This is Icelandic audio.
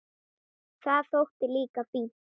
Það þótti líka fínt.